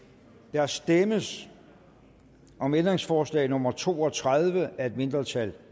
der stemmes om ændringsforslag nummer to og tredive af et mindretal